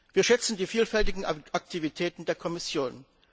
Wir schätzen die vielfältigen Aktivitäten der Kommission.